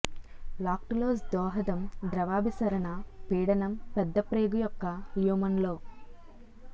lactulose దోహదం ద్రవాభిసరణ పీడనం పెద్దప్రేగు యొక్క ల్యూమన్ లో